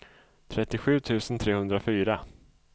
trettiosju tusen trehundrafyra